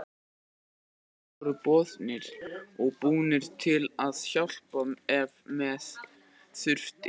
Allir voru boðnir og búnir til að hjálpa ef með þurfti.